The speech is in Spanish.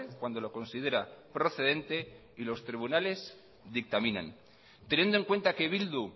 cuando lo considera procedente y los tribunales dictaminan teniendo en cuenta que bildu